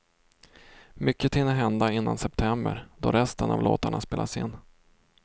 Mycket hinner hända innan september, då resten av låtarna spelas in.